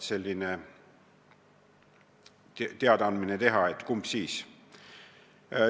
Siis tuleb teada anda, mis valik langetati.